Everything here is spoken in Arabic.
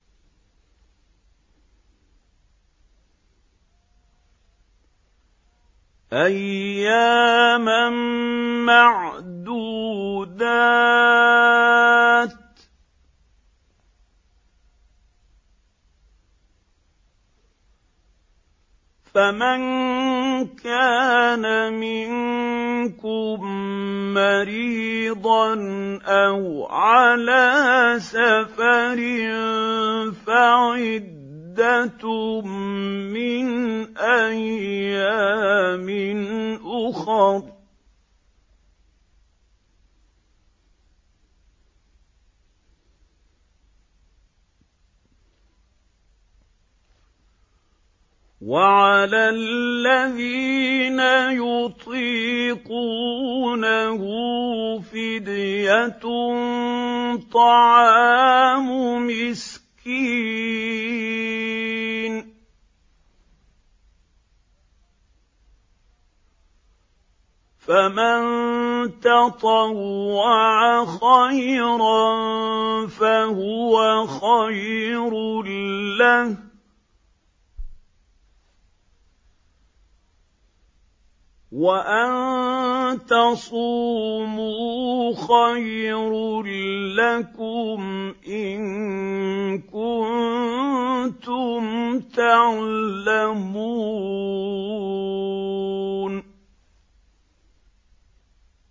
أَيَّامًا مَّعْدُودَاتٍ ۚ فَمَن كَانَ مِنكُم مَّرِيضًا أَوْ عَلَىٰ سَفَرٍ فَعِدَّةٌ مِّنْ أَيَّامٍ أُخَرَ ۚ وَعَلَى الَّذِينَ يُطِيقُونَهُ فِدْيَةٌ طَعَامُ مِسْكِينٍ ۖ فَمَن تَطَوَّعَ خَيْرًا فَهُوَ خَيْرٌ لَّهُ ۚ وَأَن تَصُومُوا خَيْرٌ لَّكُمْ ۖ إِن كُنتُمْ تَعْلَمُونَ